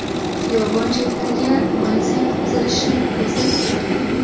Xiyobon chetlariga maysa yotqizilishi ko‘zda tutilgan.